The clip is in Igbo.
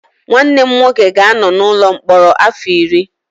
Nwanne m nwoke ga-anọ n'ụlọ mkpọrọ afọ iri